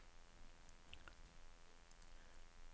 sekstitre tusen tre hundre og syttiåtte